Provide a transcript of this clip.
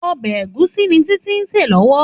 Òbè égúsì ni Titi n sé lòwò